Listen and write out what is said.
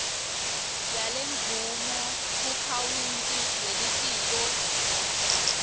yalemvumo kuakhawunti yelitiko